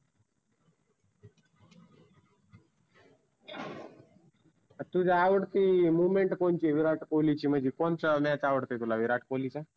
तुझ्या आवडती movement कोणची विराट कोल्हीची म्हणजी कोणचा match आवडतो विराट कोल्हीचा?